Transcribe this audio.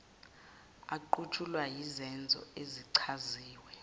aqutshulwa yizenzo ezichaziwe